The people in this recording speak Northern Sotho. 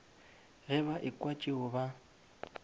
ge ba ekwa tšeo ba